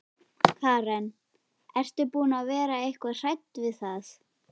Karen: Ert þú búin að vera eitthvað hrædd við það?